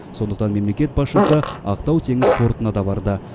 сондықтан мемлекет басшысы ақтау теңіз портына да барды